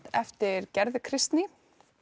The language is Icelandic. eftir Gerði Kristný